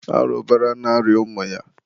arụbara na-arịa ụmụ ya.